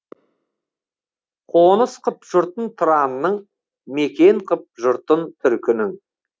қоныс қып жұртын тұранның мекен қып жұртын түркінің